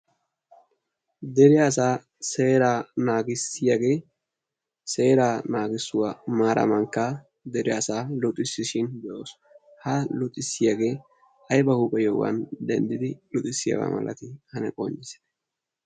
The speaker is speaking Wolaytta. dere asaa sera naagissiyaagee seera naagissuwaa maara mankka deriyaasaa luxissishin be7oosu. ha luxissiyaagee aiba huuphe yohuwan denddidi luxissiyaagaa malati ane qoncissite?